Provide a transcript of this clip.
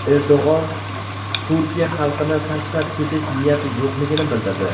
Erdo‘g‘on Turkiya xalqini tashlab ketish niyati yo‘qligini bildirdi.